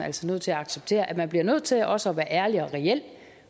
også nødt til at acceptere at man bliver nødt til også at være ærlig og reel